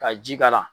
Ka ji k'a la